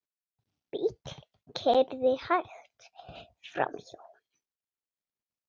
Bíll keyrði hægt framhjá honum.